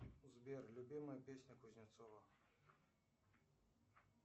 сбер любимая песня кузнецова